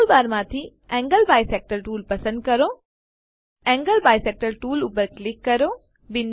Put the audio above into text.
ટૂલબારમાંથી angle bisector tool પસંદ કરો એન્ગલ બાયસેક્ટર ટૂલ પર ક્લિક કરો